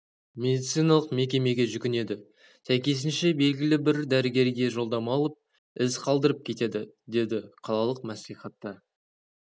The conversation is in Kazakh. медициналық мекемеге жүгінеді сәйкесінше білгілі бір дәрігерге жолдама алып із қалдырып кетеді деді қалалық мәслихатта